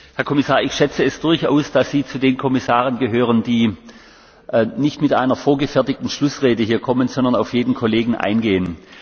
Herr Kommissar, ich schätze es durchaus, dass Sie zu den Kommissaren gehören, die nicht mit einer vorgefertigten Schlussrede hierher kommen, sondern auf jeden Kollegen eingehen.